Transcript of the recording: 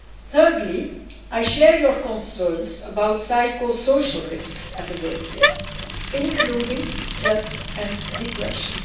Thirdly, I share your concerns about psychosocial risks in the workplace, including stress and depression.